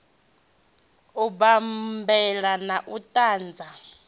u bammbela na u dantsa